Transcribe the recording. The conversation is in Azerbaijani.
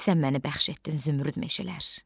Sən məni bəxş etdin zümrüd meşələr.